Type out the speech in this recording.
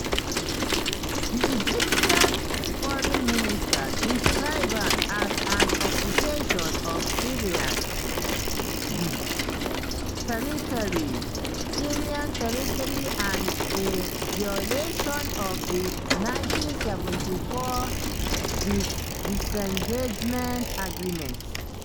di egyptian foreign ministry describe am as "an occupation of syrian territory syrian territory and a violation of di 1974 disengagement agreement".